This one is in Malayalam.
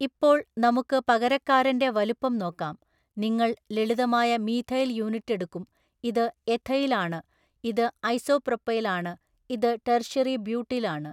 ഇപ്പോൾ നമുക്ക് പകരക്കാരന്റെ വലുപ്പം നോക്കാം നിങ്ങൾ ലളിതമായ മീഥൈൽ യൂണിറ്റ് എടുക്കും ഇത് എഥൈൽ ആണ് ഇത് ഐസോപ്രോപൈൽ ആണ് ഇത് ടെർഷ്യറി ബ്യൂട്ടിൽ ആണ്.